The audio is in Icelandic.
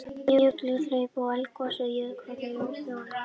Jökulhlaup og eldgos á jökulvatnasvæði Jökulsár á Fjöllum.